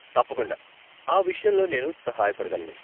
తప్పకుండా, ఆ విషయంలో నేను సహాయపడగలను.